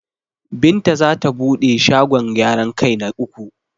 Binta zata bude shagon gyaran kai na uku.